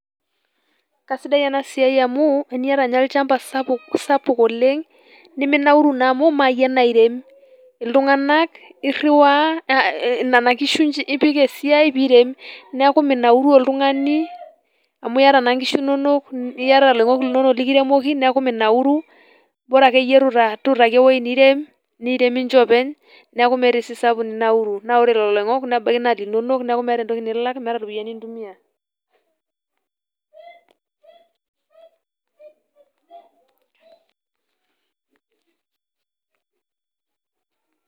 Kasidai enasiai amu, teniata nye olchamba sapuk oleng', niminauru naa amu mayie nairem. Itung'anak irriwaa eh nena kishu ipik esiai pirem. Neeku minauru oltung'ani, amu yata na nkishu nonok, niata loing'ok linonok likiremoki, neeku minauru, bara akeyie tutaaki ewueji nirem, niirem ninche openy, neeku miata esiai ninauru. Na ore lelo oing'ok, nebaki naa linonok, neku meeta entoki nilak, meeta ropiyaiani nintumia.[]